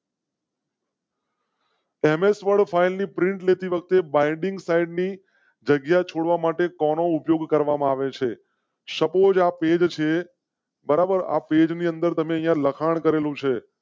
MX world final print લેતી વખતે binding site ની જગ્યા છોડવા માટે કો નો ઉપયોગ કરવામાં આવે છે. suppose. આ પેજ સે બરાબર આ પેજ ને લખાણ કરેલું છે.